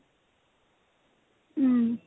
উম